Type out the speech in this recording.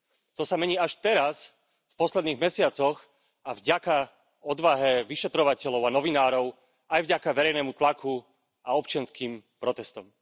To sa mení až teraz v posledných mesiacoch a vďaka odvahe vyšetrovateľov a novinárov, aj vďaka verejnému tlaku a občianskym protestom.